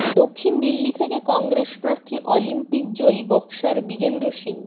দক্ষিণ দিল্লি থেকে কংগ্রেস প্রার্থী অলিম্পিক জয়ী বক্সার বিজেন্দ্র সিং